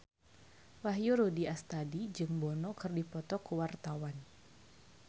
Wahyu Rudi Astadi jeung Bono keur dipoto ku wartawan